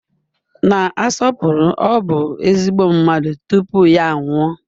Na-asọpụrụ; ọ bụ ezigbo mmadụ tupu ya anwụọ.